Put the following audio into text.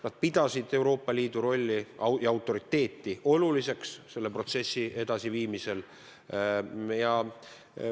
Nad pidasid Euroopa Liidu rolli ja autoriteeti selle protsessi edasiviimisel oluliseks.